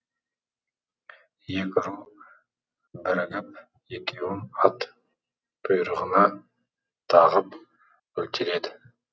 екі ру бірігіп екеуін ат құйрығына тағып өлтіреді